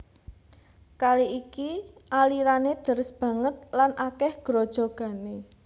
Kali iki alirané deres banget lan akèh grojogané